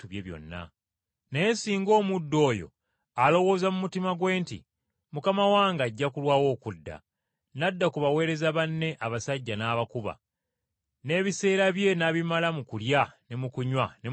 Naye singa omuddu oyo alowooza mu mutima gwe nti, ‘Mukama wange ajja kulwawo okudda,’ n’adda ku baweereza banne, n’abakuba, n’ebiseera bye n’abimala mu kulya ne mu kunywa ne mu kutamiira,